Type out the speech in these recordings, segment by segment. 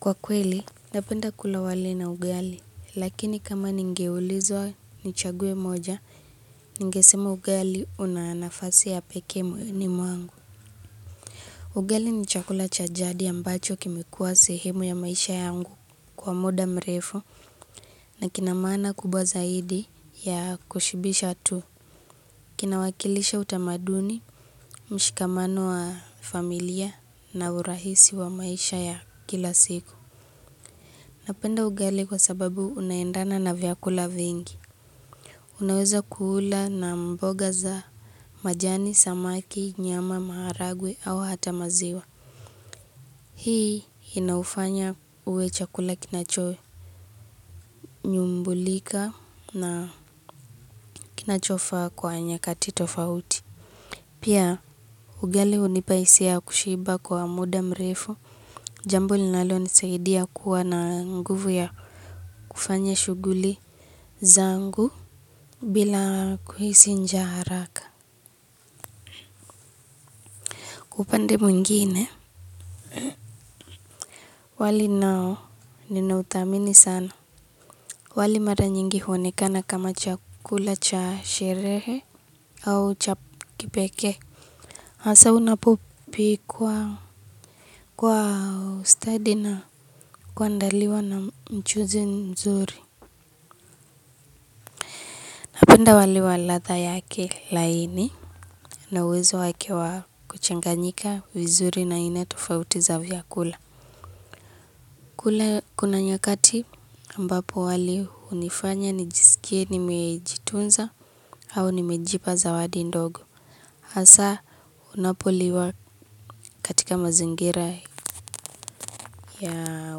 Kwa kweli, napenda kula wali na ugali, lakini kama ningeulizwa nichague moja, ningesema ugali una nafasi ya pekee moyoni mwangu. Ugali ni chakula cha jadi ambacho kimekuwa sehemu ya maisha yangu kwa muda mrefu na kina maana kubwa zaidi ya kushibisha tu. Kinawakilisha utamaduni, mshikamano wa familia na urahisi wa maisha ya kila siku. Napenda ugali kwa sababu unaendana na vyakula vingi. Unaweza kuula na mboga za majani, samaki, nyama, maharagwe au hata maziwa. Hii inaufanya uwe chakula kinacho. Nyumbulika na kinachofaa kwa nyakati tofauti. Pia ugali hunipa hisia ya kushiba kwa muda mrefu. Jambo linalonisaidia kuwa na nguvu ya kufanya shuguli zangu. Bila kuhisi njaa haraka. Upande mwingine wali nao ninauthamini sana. Wali mara nyingi huonekana kama chakula cha sherehe au cha kipekee hasa unapopikwa ustadi na kuandaliwa na mchuzi mzuri. Napenda wali wa ladha yake laini na uwezo wake wa kuchanganyika vizuri na aina tofauti za vyakula. Kule kuna nyakati ambapo wali hunifanya nijisikie nimejitunza au nimejipa zawadi ndogo hasa unapoliwa katika mazingira ya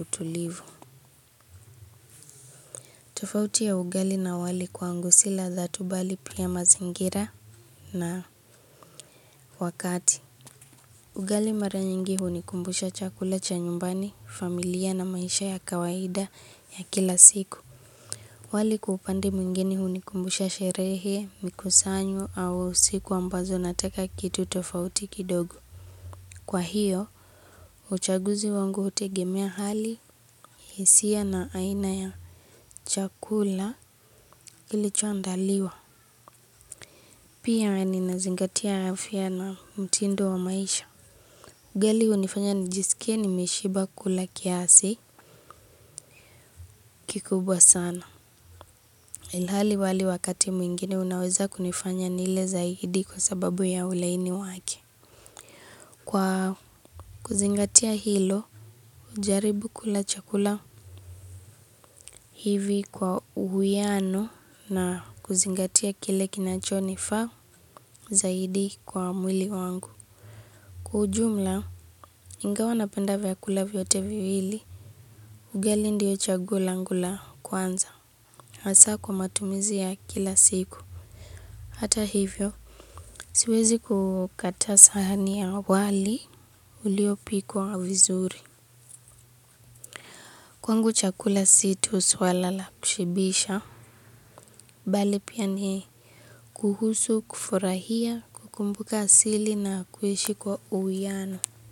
utulivu. Tofauti ya ugali na wali kwangu si ladha tu bali pia mazingira na wakati. Ugali mara nyingi hunikumbusha chakula cha nyumbani, familia na maisha ya kawaida ya kila siku. Wali kwa upande mwingine hunikumbusha sherehe, mikusanyo au siku ambazo nataka kitu tofauti kidogo. Kwa hiyo, uchaguzi wangu hutegemea hali hisia na aina ya chakula kilichoandaliwa. Pia ninazingatia afya na mtindo wa maisha. Ugali hunifanya nijisikie nimeshiba kula kiasi kikubwa sana. Ilhali wali wakati mwingine unaweza kunifanya nile zaidi kwa sababu ya ulaini wake. Kwa kuzingatia hilo, hujaribu kula chakula hivi kwa uhuiano na kuzingatia kile kinacho nifaa zaidi kwa mwili wangu. Kwa ujumla, ingawa napenda vyakula vyote viwili, ugali ndiyo chaguo langu la kwanza. Hasa kwa matumizi ya kila siku. Hata hivyo siwezi kukataa sahani ya wali uliopikwa vizuri. Kwangu chakula si tu suala la kushibisha na uwezo wake wa kuchanganyika vizuri na aina tofauti za vyakula. Kule kuna nyakati.